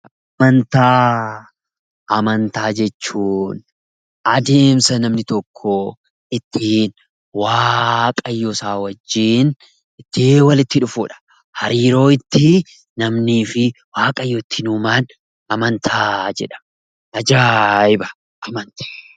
Amantaa jechuun adeemsa namni tokko ittiin waaqayyoosaa wajjin walitti dhufuudha. Hariiroo ittiin namnii fi waaqayyo ittiin uuman amantaa jedhama ajaa'iba amantii!